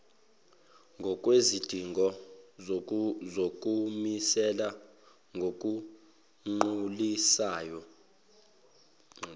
ngokwezidingo zokumisela ngokugculisayo